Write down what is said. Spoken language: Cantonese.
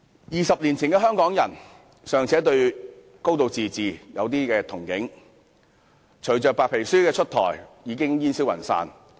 二十年前的香港人尚且對"高度自治"有少許憧憬，但隨着白皮書出台，已煙消雲散。